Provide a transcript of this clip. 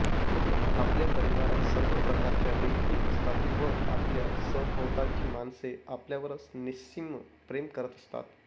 आपल्या परिवारात सर्व प्रकारच्या व्यक्ती असतात व आपल्या सभोवतालची माणसे आपल्यावर निस्सीम प्रेम करत असतात